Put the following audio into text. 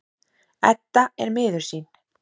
Edda er miður sín.